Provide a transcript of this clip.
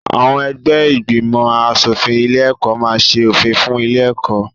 Àwọn ẹgbẹ́ ìgbìmọ̀-aṣòfin ilé-ẹ̀kọ́ máa ṣe òfin fún ilé-ẹ̀kọ́.